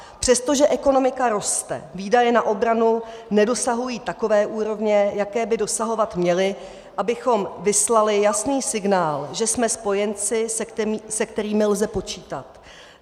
Přestože ekonomika roste, výdaje na obranu nedosahují takové úrovně, jaké by dosahovat měly, abychom vyslali jasný signál, že jsme spojenci, se kterými lze počítat.